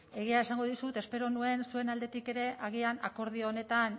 egia esango dizut espero nuen zuen aldetik ere agian akordio honetan